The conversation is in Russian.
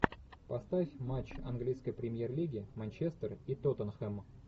поставь матч английской премьер лиги манчестер и тоттенхэм